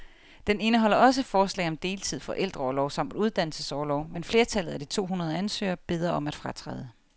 Den indeholder også forslag om deltid, forældreorlov samt uddannelsesorlov, men flertallet af de to hundrede ansøgere beder om at fratræde.